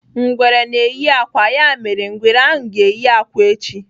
Ngwere na-eyi akwa, ya mere, ngwere ahụ ga-eyi akwa echi.